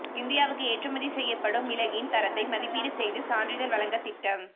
இந்தியாவுக்கு ஏற்றுமதி செய்யப்படும் மிளகின் தரத்தை மதிப்பீடு செய்து சான்றிதழ் வழங்க திட்டம்